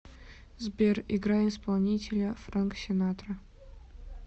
сбер играй исполнителя фрэнк синатра